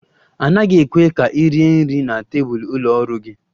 A naghị ekwe ka ị rie nri na tebụl ụlọ ọrụ gị